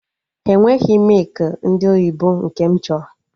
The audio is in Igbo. Ha enweghị mịkị ndị oyibo nke m chọrọ